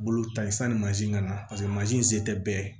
Bolo ta ye sanni mansin ka na paseke mansin tɛ bɛɛ ye